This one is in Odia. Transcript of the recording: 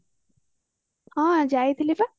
ହଁ ଯାଇଥିଲି ପା